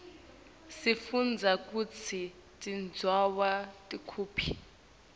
sifundza kutsi tindzawo tikuphi